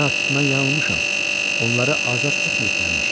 Heyhat, mən yanılmışam, onları azad etməyiblərmiş.